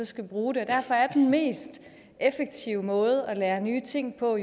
skal bruge det og derfor er den mest effektive måde at lære nye ting på